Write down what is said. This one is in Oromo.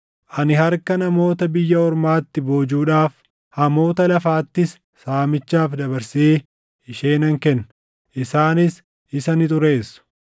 Ani harka namoota biyya ormaatti boojuudhaaf, hamoota lafaattis saamichaaf dabarsee ishee nan kenna; isaanis isa ni xureessu.